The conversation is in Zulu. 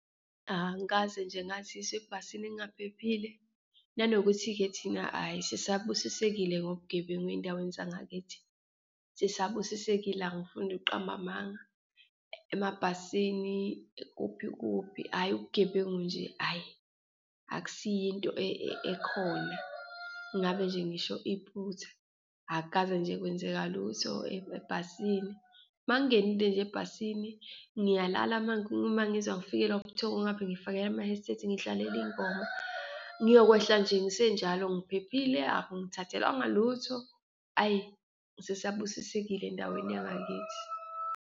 Angikaze nje ngazizwa ebhasini ngingaphephile nanokuthi-ke thina ayi sisabusisekile ngobugebengu eyindaweni zangakithi, sisabusisekile, angifuni ukuqamba amanga. Emabhasini, kuphi kuphi, ayi, ubugebengu nje ayi, akusiyo into ekhona, ngabe nje ngisho iphutha, akukaze nje kwenzeka lutho ebhasini. Uma ngingenile nje ebhasini, ngiyalala uma uma ngizwa ngifikelwa ubuthongo, ngapha ngiyifakela ama-headset, ngiyidlalela ingoma, ngiyokwehla nje ngisenjalo ngiphephile, akungi thathelwanga lutho, ayi, sisabubusisekile endaweni yangakithi.